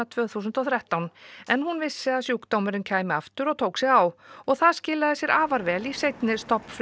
tvö þúsund og þrettán en hún vissi að sjúkdómurinn kæmi aftur og tók sig á og það skilaði sér afar vel því í seinni